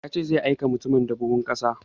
Ya ce zai aika mutumin da buhun ƙasa